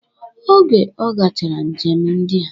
Oge ọ gachara njem ndia